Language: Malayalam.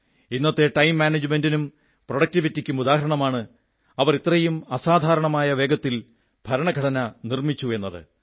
ഇന്നത്തെ ടൈം മാനേജ്മെന്റിനും പ്രൊഡക്ടിവിറ്റിക്കും ഉദാഹരണമാണ് അവർ ഇത്രയും അസാധാരണമായ വേഗതയിൽ ഭരണ ഘടന നിർമ്മിച്ചു എന്നത്